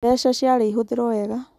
Mbeca ciarĩ ihũthĩrwo wega